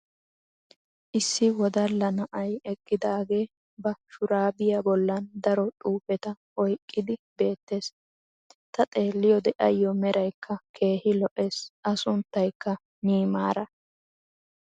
issi wodalla na'ay eqqidaagee ba shuraabbiya bolan daro xuufeta oyqqidi beetees. ta xeeliyoode ayo meraykka keehi lo'ees. a sunttaykka niimaara.